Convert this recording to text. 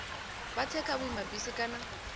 vha tse kha vhuimabisi kana